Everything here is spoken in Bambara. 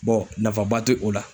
Bɔn nafaba te o la